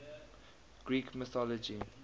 greek mythology